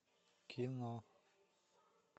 кино